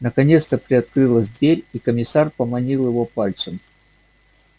наконец то приоткрылась дверь и комиссар поманил его пальцем